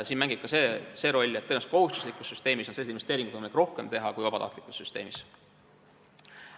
Siin mängib rolli ka see, et tõenäoliselt kohustuslikus süsteemis on selliseid investeeringuid võimalik rohkem teha kui vabatahtlikus süsteemis.